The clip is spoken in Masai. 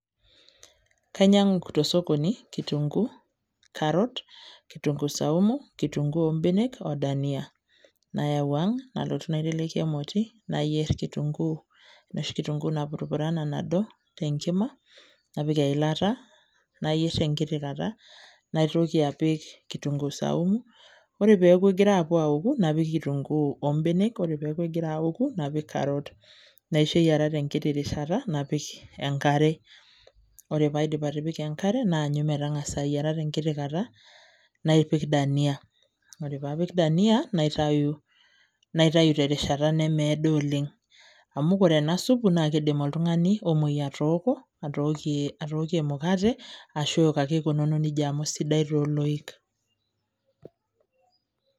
Kainyang'u tosokoni kitunkuu, carrot, kitunkuu saumu, kitunkuu obenek o dania. Nayau ang', nalotu naiteleki emoti, nayier kitunkuu, enoshi kitunkuu napurupurana nado, tenkima, napik eilata, nayier tenkiti takata. Naitoki apik kitunkuu saumu ,ore peeku kegira apuo aoku, napik kitunkuu obenek, ore peeku egira aoku, napik carrot ,naisho eyiara tenkiti rishata napik enkare. Ore paidip atipika enkare, naanyu metang'asa ayiara tenkiti kata, napik dania. Ore papik dania, naitayu terishata nemeedo oleng. Amu kore ena supu, na kidim oltung'ani omoi atooko, atookie emukate, ashu eok ake ikununo nejia amu sidai toloik.